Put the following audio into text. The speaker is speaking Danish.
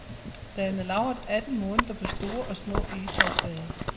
Den er lagret atten måneder på store og små egetræsfade.